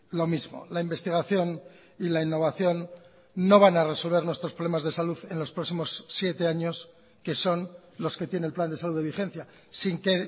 lo mismo la investigación y la innovación no van a resolver nuestros problemas de salud en los próximos siete años que son los que tiene el plan de salud de vigencia sin que